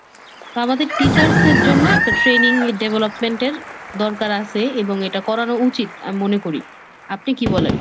তা আমাদের teachers এর জন্য একটা training development এর দরকার আছে এবং এটা করানো উচিত, আমি মনে করি। আপনি কি বলেন?